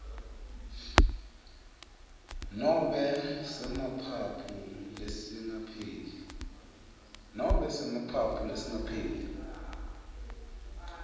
nobe semaphaphu lesingapheli